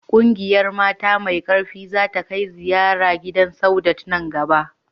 Ƙungiyar mata mai ƙarfi za ta kai ziyara gidan Saudat nan gaba